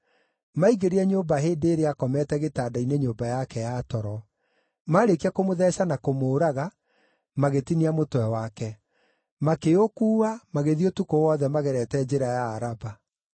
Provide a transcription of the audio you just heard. Maingĩrire nyũmba hĩndĩ ĩrĩa aakomete gĩtanda-inĩ nyũmba yake ya toro. Maarĩkia kũmũtheeca na kũmũũraga, magĩtinia mũtwe wake. Makĩũkuua, magĩthiĩ ũtukũ wothe magerete njĩra ya Araba.